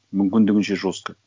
мүмкіндігінше жестко